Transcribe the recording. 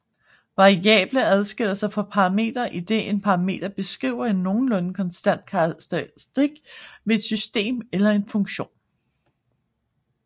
Variable adskiller sig fra parametre idet en parameter beskriver en nogenlunde konstant karakteristik ved et system eller en funktion